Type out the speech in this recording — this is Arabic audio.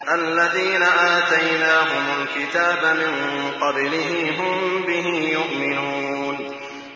الَّذِينَ آتَيْنَاهُمُ الْكِتَابَ مِن قَبْلِهِ هُم بِهِ يُؤْمِنُونَ